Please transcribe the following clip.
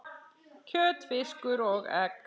kjöt, fiskur og egg